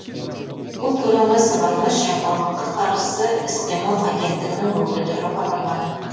бұл туралы сыбайлас жемқорлыққа қарсы іс қимыл агенттігінің өкілдері хабарлады